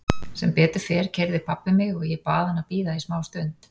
Sem betur fer keyrði pabbi mig og ég bað hann að bíða í smá stund.